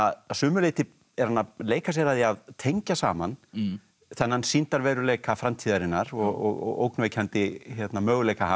að sumu leyti er hann að leika sér að því að tengja saman þennan sýndarveruleika framtíðarinnar og ógnvekjandi möguleika hans